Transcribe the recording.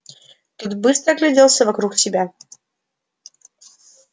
тот быстро огляделся вокруг себя